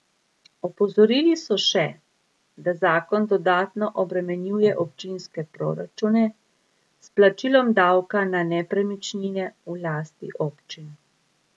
Opozorili so še, da zakon dodatno obremenjuje občinske proračune s plačilom davka na nepremičnine v lasti občin.